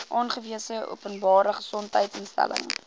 aangewese openbare gesondheidsinstelling